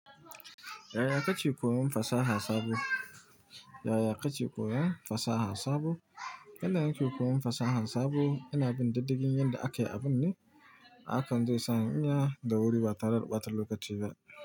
Yaya kake koyon fasaha sabo? Yaya kake koyon fasaha sabo? Yanda nake koyon fasaha sabo ina bin diddigin yanda ake abun ne, hakan zai sa in iya da wuri ba tare da ɓatar lokaci ba.